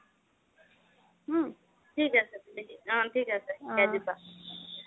অহ থিক আছে, অহ থিক আছে শিকাই দিবা